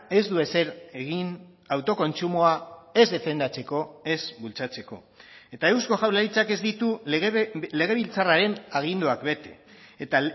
ez du ezer egin autokontsumoa ez defendatzeko ez bultzatzeko eta eusko jaurlaritzak ez ditu legebiltzarraren aginduak bete eta